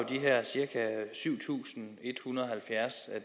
de her cirka syv tusind en hundrede og halvfjerds